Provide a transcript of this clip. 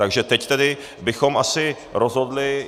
Takže teď tedy bychom asi rozhodli.